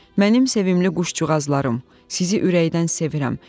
Mənim sevimli quşcuğazlarım, sizi ürəkdən sevirəm.